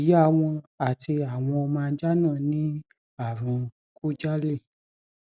ìyá wọn àti àwọn ọmọ ajá náà ní ààrùn khujali